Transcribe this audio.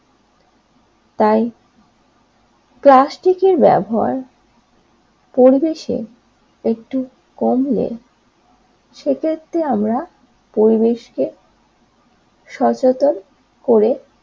তাই প্লাস্টিকের ব্যবহার পরিবেশ একটু কমলে সে ক্ষেত্রে আমরা পরিবেশকে সচেতন করে